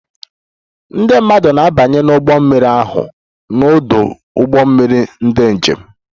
Ndị mmadụ na-abanye n'ụgbọ mmiri ahụ n'ọdụ ụgbọ mmiri ndị njem